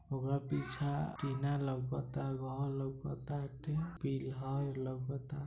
ओकरा पीछा टीना लोकाता घर लोकाताटे पिलर लोकाता।